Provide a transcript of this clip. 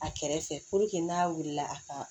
A kɛrɛfɛ puruke n'a wulila a ka